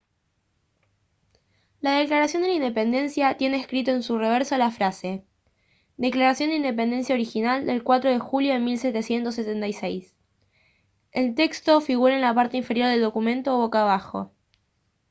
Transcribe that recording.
la declaración de la independencia tiene escrito en su reverso la frase «declaración de independencia original del 4 de julio de 1776». el texto figura en la parte inferior del documento boca abajo